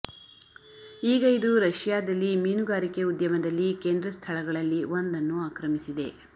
ಈಗ ಇದು ರಶಿಯಾದಲ್ಲಿ ಮೀನುಗಾರಿಕೆ ಉದ್ಯಮದಲ್ಲಿ ಕೇಂದ್ರ ಸ್ಥಳಗಳಲ್ಲಿ ಒಂದನ್ನು ಆಕ್ರಮಿಸಿದೆ